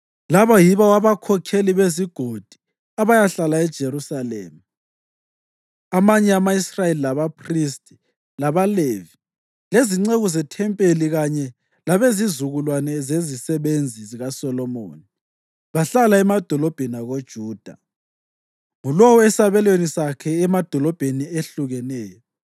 Laba yibo abakhokheli bezigodi abayahlala eJerusalema (amanye ama-Israyeli, labaphristi, labaLevi, lezinceku zethempelini kanye labezizukulwane zezisebenzi zikaSolomoni bahlala emadolobheni akoJuda, ngulowo esabelweni sakhe emadolobheni ehlukeneyo,